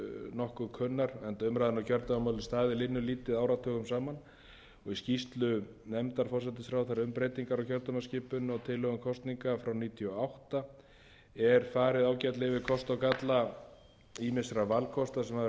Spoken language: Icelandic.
nokkuð kunnar enda umræðan um kjördæmamálið staðið linnulítið áratugum saman og í skýrslu nefndar forsætisráðherra um breytingar á kjördæmaskipun og tilhögun kosninga frá nítján hundruð níutíu og átta er farið ágætlega yfir kosti og galla ýmissa valkosta sem hafa verið nefndir til sögunnar við höfum